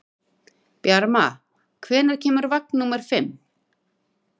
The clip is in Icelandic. Bjarma, hvenær kemur vagn númer fimm?